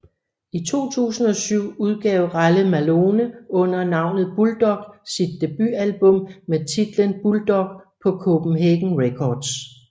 I 2007 udgav Ralle Malone under navnet Bulldogg sit debutalbum med titlen Bulldogg på Copenhagen Records